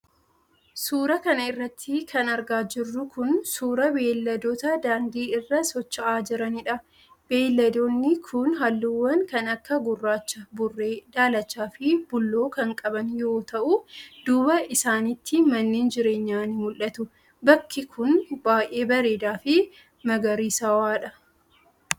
Suura kana irratti kan argaa jirru kun, suura beeyladootaa daandii irra socho'aa jiraniidha. Beeyladoonni kun haalluuwwan kan akka:gurraacha, burree, daalacha fi bulloo kan qaban yoo ta'u, duuba isaanitti manneen jireenyaa ni mul'atu. Bakki kun, baay'ee bareedaa fi magariisawaadha